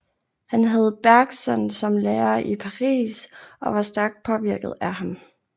Han havde Bergson som lærer i Paris og var stærkt påvirket af ham